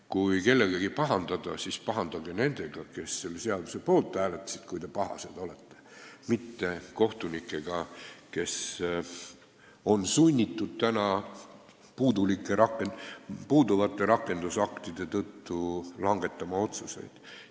Kui kellegagi pahandada, siis pahandage nendega, kes selle seaduse poolt hääletasid, mitte kohtunikega, kes on sunnitud puuduvate rakendusaktide tõttu keerulisi otsuseid langetama.